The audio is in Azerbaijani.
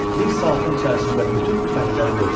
Bir saatın içərisində bütün tüfəngləri qırdılar.